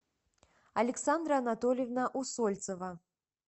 александра анатольевна усольцева